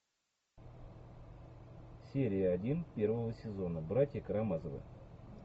серия один первого сезона братья карамазовы